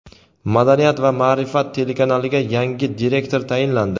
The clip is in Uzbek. "Madaniyat va ma’rifat" telekanaliga yangi direktor tayinlandi.